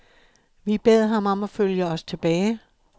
Vi bad ham om at følge os tilbage.